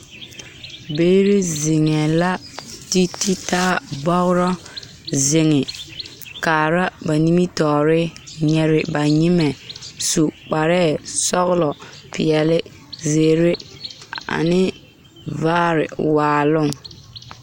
Biiri zeŋee la ti ti taa bɔgrɔ zeŋ kaara ba nimitɔɔre nyiri ba nyemɛ su kparɛɛ sɔgelɔ peɛle zeere ane vaare waaloŋ